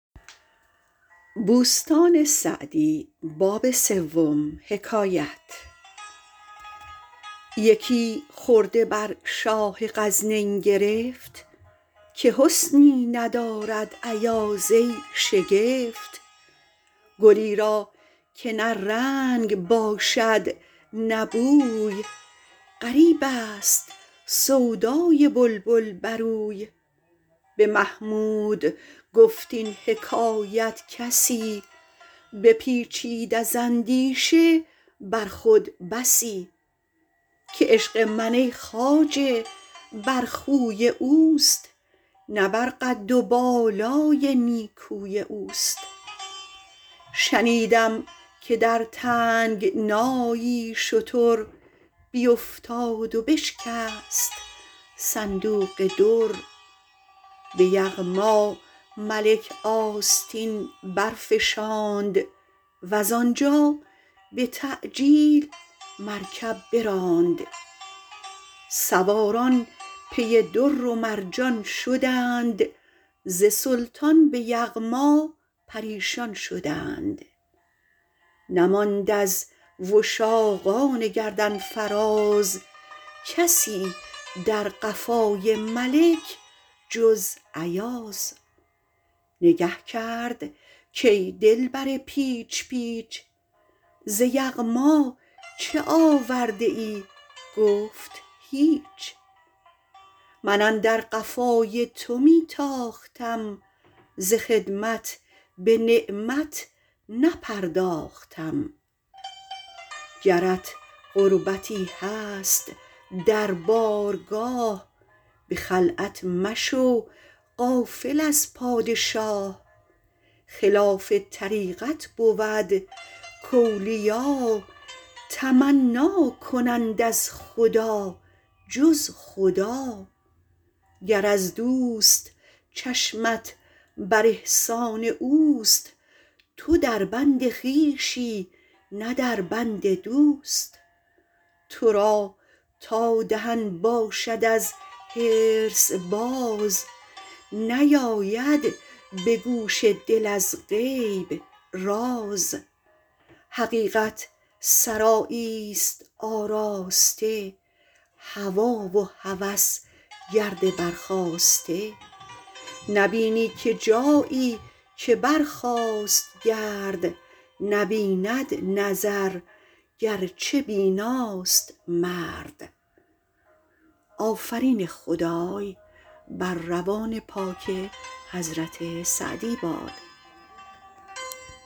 یکی خرده بر شاه غزنین گرفت که حسنی ندارد ایاز ای شگفت گلی را که نه رنگ باشد نه بوی غریب است سودای بلبل بر اوی به محمود گفت این حکایت کسی بپیچید از اندیشه بر خود بسی که عشق من ای خواجه بر خوی اوست نه بر قد و بالای نیکوی اوست شنیدم که در تنگنایی شتر بیفتاد و بشکست صندوق در به یغما ملک آستین برفشاند وز آنجا به تعجیل مرکب براند سواران پی در و مرجان شدند ز سلطان به یغما پریشان شدند نماند از وشاقان گردن فراز کسی در قفای ملک جز ایاز نگه کرد کای دلبر پیچ پیچ ز یغما چه آورده ای گفت هیچ من اندر قفای تو می تاختم ز خدمت به نعمت نپرداختم گرت قربتی هست در بارگاه به خلعت مشو غافل از پادشاه خلاف طریقت بود کاولیا تمنا کنند از خدا جز خدا گر از دوست چشمت بر احسان اوست تو در بند خویشی نه در بند دوست تو را تا دهن باشد از حرص باز نیاید به گوش دل از غیب راز حقیقت سرایی است آراسته هوی و هوس گرد برخاسته نبینی که جایی که برخاست گرد نبیند نظر گرچه بیناست مرد